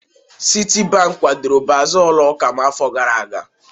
Citibank kwadoro baaza ụlọ ụka m n'afọ gara aga.